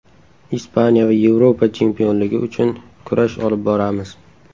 Ispaniya va Yevropa chempionligi uchun kurash olib boramiz.